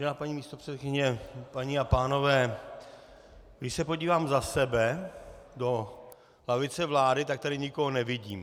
Vážená paní místopředsedkyně, paní a pánové, když se podívám za sebe do lavice vlády, tak tady nikoho nevidím.